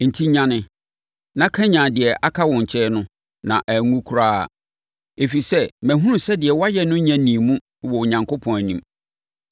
Enti nyane, na kanyane deɛ aka wo nkyɛn no na anwu koraa. Ɛfiri sɛ, mahunu sɛ deɛ woayɛ no nya nnii mu wɔ Onyankopɔn anim.